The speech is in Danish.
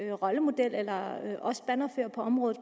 en rollemodel eller bannerfører på området